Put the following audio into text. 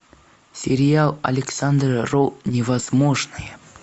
сериал александра роу новозможное